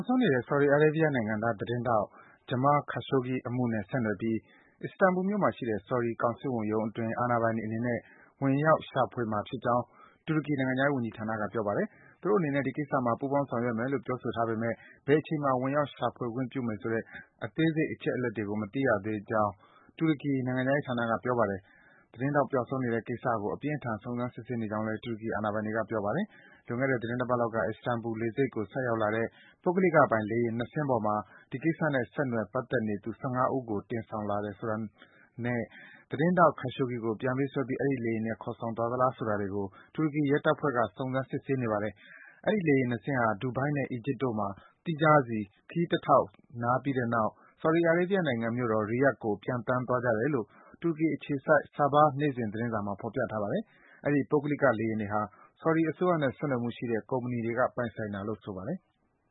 က်ဆုံးနေတဲ့ ဆော်ဒီအာရေးဗီးယားနိုင်ငံသား သတင်းထောက် Jamal Khashoggi အမှုနဲ့ ဆက်နွယ်ပြီး Istanbul မြို့မှာရှိတဲ့ ဆော်ဒီ ကောင်စစ်ဝန်ရုံးအတွင်း အာဏာပိုင်တွေအနေနဲ့ ဝင်ရောက်ရှာမှာ ဖြစ်ကြောင်း တူရကီနိုင်ငံခြားရေးဝန်ကြီးဌာနက ပြောပါတယ်။ သူတို့အနေနဲ့ ဒီကိစ္စမှာ ပူးပေါင်း ဆောင်ရွက်မယ်လို့ ပြောဆိုထားပေမယ့် ဘယ်အချိန်မှာ ဝင်ရောက် ရှာဖွေခွင့်ပြုမယ်ဆိုတဲ့ အသေးစိတ် အချက်အလက်တွေကို မသိရသေးကြောင်း တူရကီ နိုင်ငံခြားရေးဌာနက ပြောပါတယ်။ သတင်းထောက် ပျောက်ဆုံးနေတဲ့ကိစ္စကို အပြင်းအထန် စုံစမ်း စစ်ဆေးနေကြောင်းလည်း တူရကီ အာဏာပိုင်တွေက ပြောပါတယ်။ လွန်ခဲ့တဲ့ သီတင်းတပတ်လောက်က Istanbul လေဆိပ်ကို ဆိုက်ရောက်လာတဲ့ ပုဂ္ဂလိကပိုင် လေယာဉ် ၂ စင်းပေါ်မှာ ဒီကိစ္စနဲ့ ဆက်နွယ် ပတ်သက်နေသူ ၁၅ ဦးကို တင်ဆောင်လာသလားဆိုတာနဲ့ သတင်းထောက် Khashoggi ကို ပြန်ပေးဆွဲပြီး အဲဒီ လေယာဉ်နဲ့ ခေါ်ဆောင်သွားသလား ဆိုတာတွေကို တူရကီရဲတပ်ဖွဲ့က စုံစမ်း စစ်ဆေးနေပါတယ်။ အဲဒီ လေယာဉ် ၂ စင်းဟာ ဒူဘိုင်း နဲ့ အီဂျစ်နိုင်ငံတို့မှာ သီးခြားစီ ခရီးတထောက်နားပြီးတဲ့နောက် ဆော်ဒီအာရေးဗီးယားနိုင်ငံမြို့တော် Riyadh ကို ပျံသန်းသွားကြတယ်လို့ တူရကီအခြေစိုက် Sabah နေ့စဉ် သတင်းစာမှာ ဖော်ပြထားပါတယ်။ အဲဒီ ပုဂ္ဂလိက လေယာဉ်တွေဟာ ဆော်ဒီ အစိုးရနဲ့ ဆက်နွယ်မှုရှိတဲ့ ကုမ္ပဏီတွေက ပိုင်ဆိုင်တာလို့ ဆိုပါတယ်။